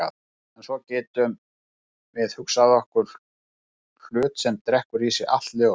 En svo getum við hugsað okkur hlut sem drekkur í sig allt ljós.